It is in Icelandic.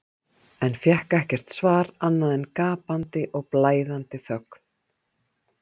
en fékk ekkert svar annað en gapandi og blæðandi þögn.